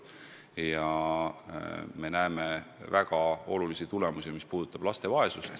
Ja me näeme väga olulisi tulemusi, mis puudutavad laste vaesust.